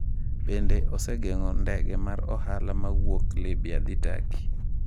Bende, osegeng’o ndege mag ohala ma wuok Libya dhi Turkey.